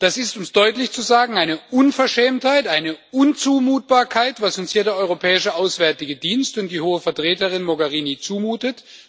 Das ist, um es deutlich zu sagen, eine Unverschämtheit, eine Unzumutbarkeit, was uns hier der Europäische Auswärtige Dienst und die hohe Vertreterin Mogherini zumuten.